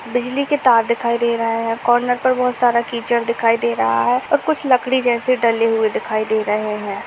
बिजली के तार दिखाई दे रहा है और कार्नर पे (पर) बहोत (बहुत) सारा कीचड़ दिखाई दे रहा है और कुछ लकड़ी जैसे डले हुए दिखाई दे रहे हैं।